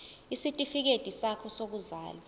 isitifikedi sakho sokuzalwa